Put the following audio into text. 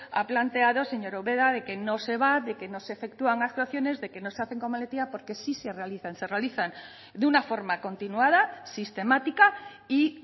ha planteado señora ubera de que no se va de que no se efectúan actuaciones de que no se hacen con valentía porque sí se realizan se realizan de una forma continuada sistemática y